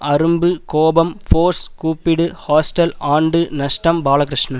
அரும்பு கோபம் ஃபோர்ஸ் கூப்பிடு ஹாஸ்டல் ஆண்டு நஷ்டம் பாலகிருஷ்ணன்